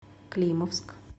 климовск